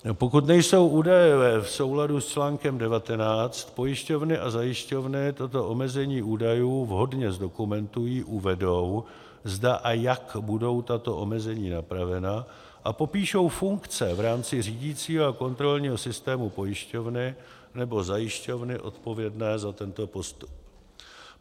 Pokud nejsou údaje v souladu s článkem 19, pojišťovny a zajišťovny tato omezení údajů vhodně zdokumentují, uvedou, zda a jak budou tato omezení napravena, a popíšou funkce v rámci řídicího a kontrolního systému pojišťovny nebo zajišťovny odpovědné za tento postup.